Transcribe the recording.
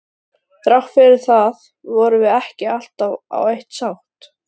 Þrátt fyrir það vorum við ekki alltaf á eitt sátt.